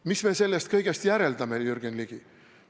Mis me sellest kõigest järeldame, Jürgen Ligi?